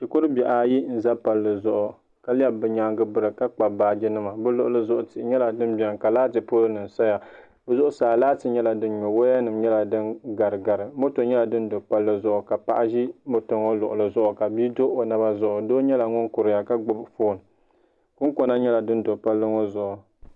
Shikuri bihi ayi n za palli zuɣu ka lɛbi bi yɛangi n biri ka kpabi baaji nima bi luɣili zuɣu tihi yɛla din bɛni ka laati pol nim saya si zuɣusaa laati yɛla dinyɔ waya nim yɛla din garigari moto yyɛla din do palli zuɣu ka Paɣi ka bii do o naba zuɣu zi moto ŋɔ luɣili zuɣu ka Paɣi zi moto ŋɔ luɣili zuɣu doo yɛla ŋun kuriya ka gbubi foon kunkona yɛla sin do palli ŋɔ zuɣu.